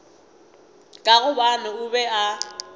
ka gobane o be a